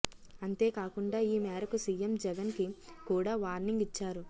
అంతేకాకుండా ఈ మేరకు సీఎం జగన్ కి కూడా వార్నింగ్ ఇచ్చారు